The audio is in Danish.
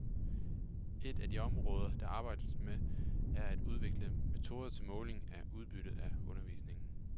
Ét af de områder der arbejdes med, er at udvikle metoder til måling af udbytte af undervisningen.